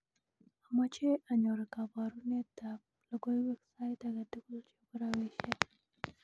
amoje anyor koborunet ab logoiwek sait agetugul chebo rabishiek